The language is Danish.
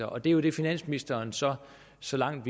og det er jo det finansministeren så så langt